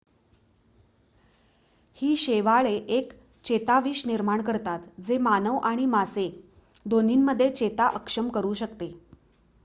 ही शैवाले एक चेताविष निर्माण करतात जे मानव आणि मासे दोन्हीमध्ये चेता अक्षम करू शकते